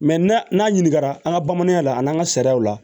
n'a n'a ɲininkara an ka bamananya la an n'an ka sariyaw la